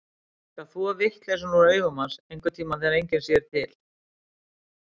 Ég skal þvo vitleysuna úr augum hans, einhverntíma þegar enginn sér til.